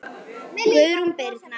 Guðrún Birna.